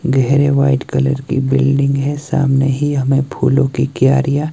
गहरे white colour की building है। सामने ही हमें फूलों की क्यारियां--